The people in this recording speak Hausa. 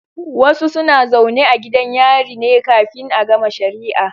Wasu suna zaune a gidan yari ne kafin a gama shari'a